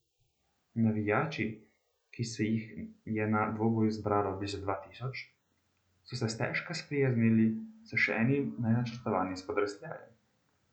Navijači, ki se jih je na dvoboju zbralo blizu dva tisoč, so se stežka sprijaznili s še enim nenačrtovanim spodrsljajem.